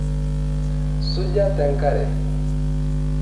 Suja te nkare.